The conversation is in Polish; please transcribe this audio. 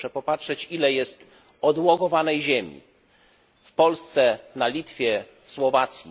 Proszę popatrzeć, ile jest odłogowanej ziemi w Polsce, na Litwie, na Słowacji.